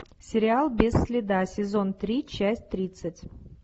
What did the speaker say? сериал без следа сезон три часть тридцать